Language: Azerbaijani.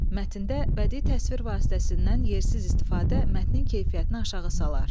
Mətndə bədi təsvir vasitəsindən yersiz istifadə mətnin keyfiyyətini aşağı salar.